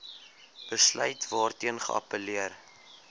besluit waarteen geappelleer